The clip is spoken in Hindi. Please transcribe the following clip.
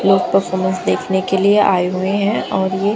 ये परफॉर्मेंस देखने के लिए आए हुए हैं और ये--